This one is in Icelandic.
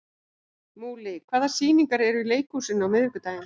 Múli, hvaða sýningar eru í leikhúsinu á miðvikudaginn?